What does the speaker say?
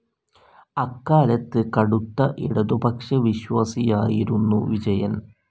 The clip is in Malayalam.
അക്കാലത്ത് കടുത്ത ഇടതുപക്ഷവിശ്വാസിയായിരുന്നു വിജയൻ.